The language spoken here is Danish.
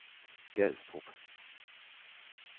Gadstrup